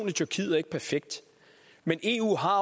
i tyrkiet er ikke perfekt men eu har